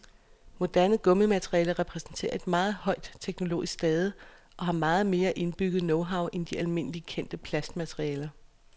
Moderne gummimaterialer repræsenterer et meget højt teknologisk stade og har meget mere indbygget knowhow end de almindeligt kendte plastmaterialer.